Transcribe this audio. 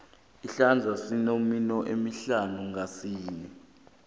isandla sinemino emihlanu ngasinye